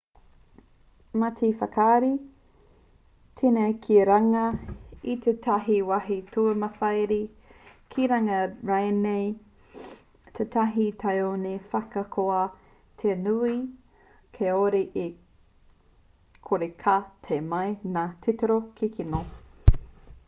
mā te whakarite teneti ki runga i tētahi wāhi tūmatawhāiti ki runga rānei i tētahi tāone ahakoa te nui kāore e kore ka tae mai ngā titiro kikino